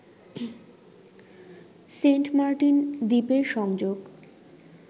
Saint Martin দ্বীপের সংযোগ